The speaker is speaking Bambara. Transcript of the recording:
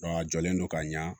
a jɔlen don ka ɲa